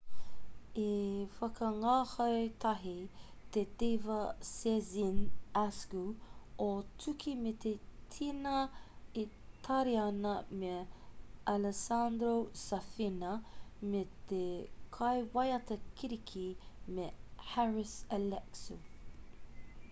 i whakangāhau tahi te diva sezen aksu o tūki me te tena itariana me alessandro safina me te kaiwaiata kiriki me haris alexiou